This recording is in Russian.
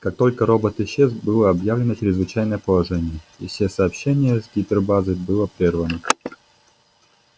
как только робот исчез было объявлено чрезвычайное положение и все сообщение с гипербазой было прервано